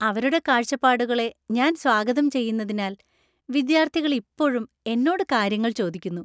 അവരുടെ കാഴ്ചപ്പാടുകളെ ഞാൻ സ്വാഗതം ചെയ്യുന്നതിനാൽ വിദ്യാർത്ഥികൾ ഇപ്പോഴും എന്നോട് കാര്യങ്ങൾ ചോദിക്കുന്നു.